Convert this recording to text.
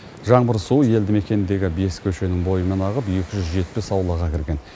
жаңбыр суы елді мекендегі бес көшенің бойымен ағып екі жүз жетпіс аулаға кірген